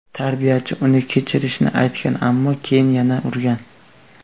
Tarbiyachi uni kechirishini aytgan, ammo keyin yana urgan.